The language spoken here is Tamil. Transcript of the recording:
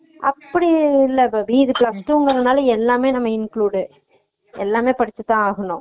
நீ இப்புடி படிச்சுடினா degree னா தா நா fashion designing எடுக்க முடியும்